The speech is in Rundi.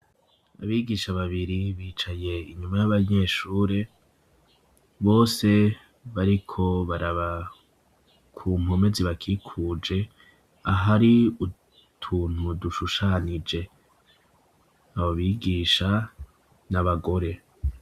Abigisha babiri bicaye inyuma y'abanyeshuri, bose bariko baraba ku mpome zibakikuje ahari utuntu dushushanije, abo bigisha n'abagore.